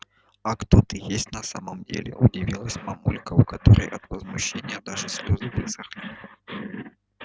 а кто ты есть на самом деле удивилась мамулька у которой от возмущения даже слезы высохли